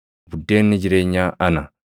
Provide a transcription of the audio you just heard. Buddeenni jireenyaa ana.